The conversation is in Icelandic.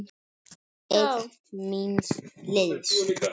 Einn míns liðs.